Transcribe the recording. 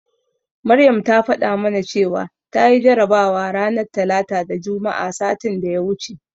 Maryam ta faɗa mana cewa tayi jarabawa ranar Talata da Juma'a satin da ya wuce.